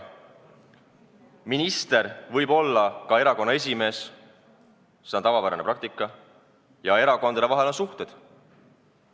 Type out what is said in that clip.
Minister võib olla ka erakonna esimees, see on tavapärane praktika, ja erakondade vahel on suhted.